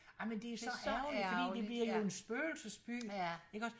Ej men det så ærgerligt fordi det bliver jo en spøgelsesby iggås